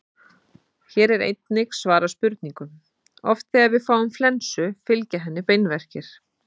Hér er einnig svarað spurningunum: Oft þegar við fáum flensu fylgja henni beinverkir.